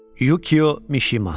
Yukio Mişima.